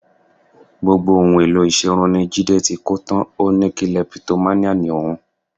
Gbogbo ohun èlò ìṣerun ni Jídé ti kó tán, ó ní kilẹpitománíà ni òun